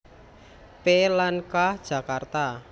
P lan K Jakarta